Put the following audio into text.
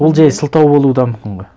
ол жай сылтау болуы да мүмкін ғой